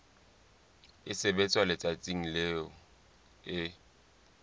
e sebetswa letsatsing leo e